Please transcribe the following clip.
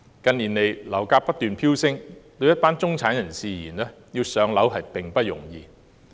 近年樓價不斷飆升，對一些中產人士而言，要"上樓"並不容易。